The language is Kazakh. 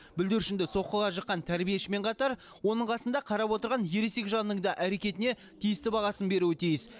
бүлдіршінді соққыға жыққан тәрбиешімен қатар оның қасында қарап отырған ересек жанның да әрекетіне тиісті бағасын беруі тиіс